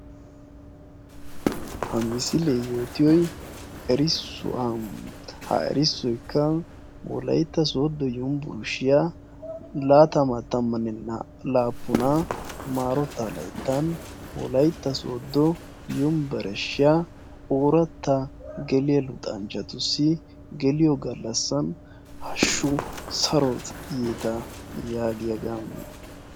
Ha misilee yootiyoy erissuwa. ha erssoykka wolaytta sooddo yunbburshshiya laatamaa tammanne naa''a laappunaa maarotaa layttan wolaytta sooddo yunbbereshshiya ooratta geliya luxanchchatussi geliyo gallassaa hashshu saro yeeta yaagiyaagaa.